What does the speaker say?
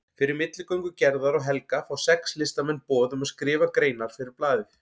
Fyrir milligöngu Gerðar og Helga fá sex listamenn boð um að skrifa greinar fyrir blaðið.